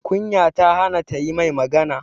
Kunya ta hana ta yi mai magana